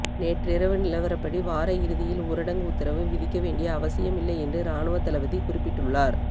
நேற்றிரவு நிலவரப்படி வார இறுதியில் ஊரடங்கு உத்தரவு விதிக்க வேண்டிய அவசியமில்லை என்று இராணுவத்தளபதி குறிப்பிட்டுள்ளார்